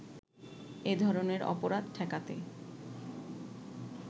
এ ধরনের অপরাধ ঠেকাতে